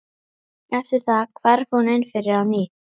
Eftir það hvarf hún inn fyrir á ný.